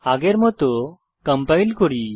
আগের মত কম্পাইল করি